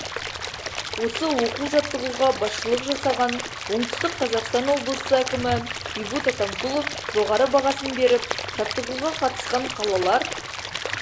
осы оқу-жаттығуға басшылық жасаған оңтүстік қазақстан облысы әкімі бейбут атамкулов жоғары бағасын беріп жаттығуға қатысқан қалалар